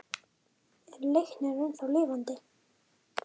Er Leiknir ennþá lifandi?